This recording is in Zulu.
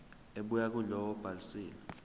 ebuya kulowo obhalisile